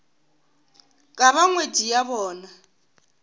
ka ba ngwetši ya bona